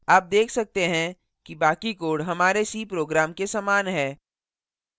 आप देख सकते हैं कि बाकी code हमारे c program के समान है